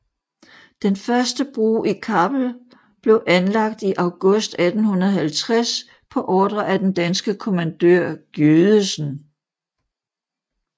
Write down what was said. Den første bro i Kappel blev anlagt i august 1850 på ordre af den danske kommandør Giødesen